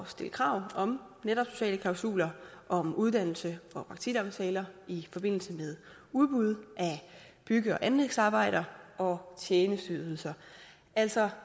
stille krav om sociale klausuler om uddannelses og praktikaftaler i forbindelse med udbud af bygge og anlægsarbejder og tjenesteydelser altså